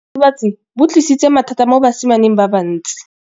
Botshelo jwa diritibatsi ke bo tlisitse mathata mo basimaneng ba bantsi.